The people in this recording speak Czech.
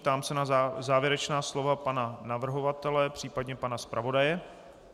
Ptám se na závěrečná slova pana navrhovatele případně pana zpravodaje.